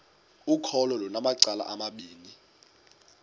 ukholo lunamacala amabini